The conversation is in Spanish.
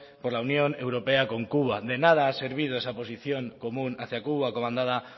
por la unión europea con cuba de nada ha servido esa posición común hacia cuba comandada